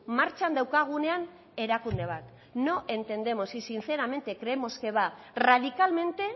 martxan daukagunean erakunde bat no entendemos y sinceramente creemos que va radicalmente